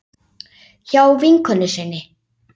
Hjá vinkonu sinni?